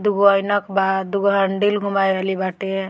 दू गो ऐनक बा दू गो हैंडिल घुमावे वाली बाटे।